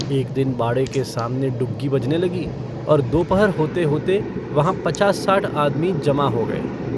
एक दिन बाड़े के सामने डुग्गी बजने लगी और दोपहर होते-होते वहाँ पचास-साठ आदमी जमा हो गये।